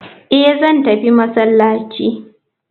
Eh zan tafi masallaci.